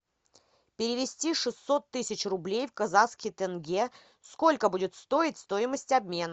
перевести шестьсот тысяч рублей в казахский тенге сколько будет стоить стоимость обмена